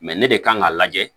ne de kan ka lajɛ